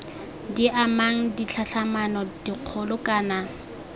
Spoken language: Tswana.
di amang ditlhatlhamano dikgolo kana